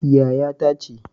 Yaya ta ce